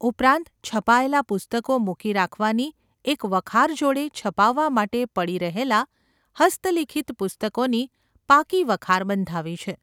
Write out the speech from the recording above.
ઉપરાંત છપાયેલાં પુસ્તકો મૂકી રાખવાની એક વખાર જોડે છપાવવા માટે પડી રહેલાં હસ્તલિખિત પુસ્તકોની પાકી વખાર બંધાવી છે.